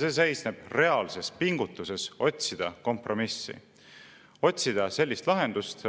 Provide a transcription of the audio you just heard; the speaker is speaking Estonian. See seisneb reaalses pingutuses otsida kompromissi, otsida sellist lahendust,